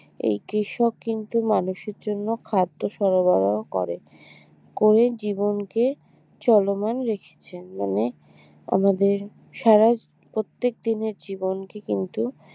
এই কৃষক কিন্তু মানুষের জন্য খাদ্য সরবরাহ করেন করে জীবনকে চলমান রেখেছেন মানে আমাদের সারা প্রত্যেক দিনের জীবনকে কিন্তু